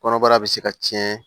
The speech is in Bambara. Kɔnɔbara bɛ se ka cɛn